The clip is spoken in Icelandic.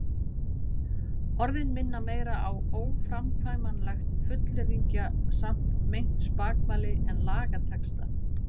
Orðin minna meira á óframkvæmanlegt fullyrðingasamt meint spakmæli en lagatexta.